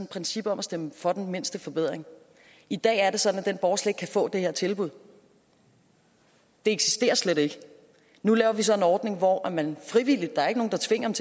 princip om at stemme for den mindste forbedring i dag er det sådan at den borger slet ikke kan få det her tilbud det eksisterer slet ikke nu laver vi så en ordning hvor man frivilligt der er ikke nogen der tvinger